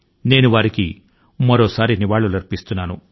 నేను మరొక్క సారి ఆయన కు శ్రద్ధాంజలి ని అర్పిస్తున్నాను